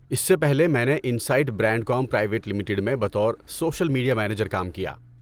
اس سے پہلے، میں نے انسائٹ برینڈکوم پرائیویٹ لمیٹڈ میں بطور سوشل میڈیا منیجر کام کیا۔